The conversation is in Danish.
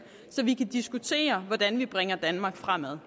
så vi kan diskutere hvordan vi bringer danmark fremad